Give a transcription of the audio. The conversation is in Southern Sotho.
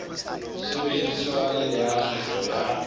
sebediswa le ya kgetho ya